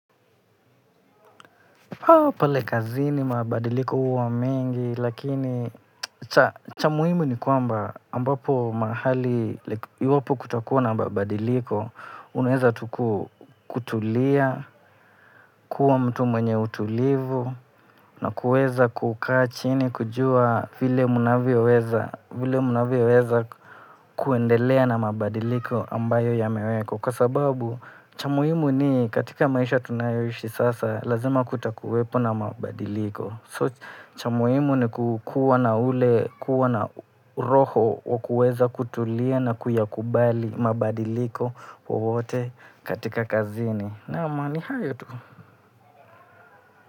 Pao pale kazi ni mabadiliko huwa mengi lakini cha muhimu ni kwamba ambapo mahali iwapo kutakuwa na mabadiliko uneza tuku kutulia, kuwa mtu mwenye utulivu na kuweza kukaa chini kujua vile mnavyo weza vile munavyo weza kuendelea na mabadiliko ambayo ya mewekwa. Kwa sababu cha muhimu ni katika maisha tunayo ishi sasa. Lazima kutakuwepo na mabadiliko. So cha muhimu ni kukuwa na ule kuwa na roho wa kueza kutulia na kuyakubali mabadiliko wowote katika kazini. Naam ni hayo tu.